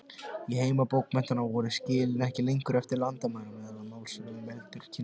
Í heimi bókmenntanna fóru skilin ekki lengur eftir landamærum eða málsvæðum, heldur kynslóðum.